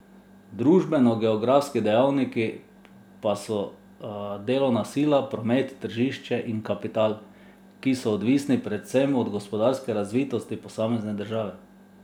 Družbenogeografski dejavniki pa so delovna sila, promet, tržišče in kapital, ki so odvisni predvsem od gospodarske razvitosti posamezne države.